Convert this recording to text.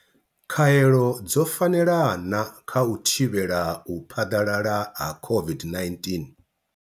Khaelo dzo fanela na kha u thivhela u phaḓalala ha u thivhela u phaḓalala ha COVID-19?